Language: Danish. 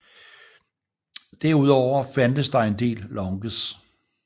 Derudover fandtes der en del lounges